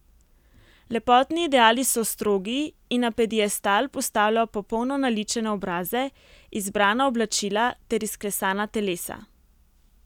Lepotni ideali so strogi in na piedestal postavljajo popolno naličene obraze, izbrana oblačila ter izklesana telesa.